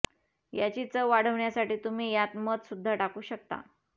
याची चव वाढवण्यासाठी तुम्ही यात मध सुद्धा टाकू शकता